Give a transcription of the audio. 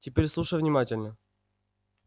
теперь слушай внимательно